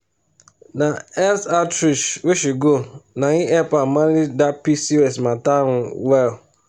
na health outreach wey she go na him help her manage that pcos matter um well.